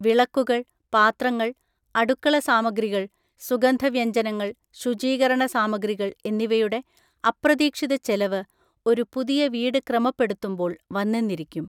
വിളക്കുകൾ, പാത്രങ്ങൾ, അടുക്കള സാമഗ്രികൾ, സുഗന്ധവ്യഞ്ജനങ്ങൾ, ശുചീകരണസാമഗ്രികൾ എന്നിവയുടെ അപ്രതീക്ഷിത ചെലവ് ഒരു പുതിയ വീട് ക്രമപ്പെടുത്തുമ്പോൾ വന്നെന്നിരിക്കും.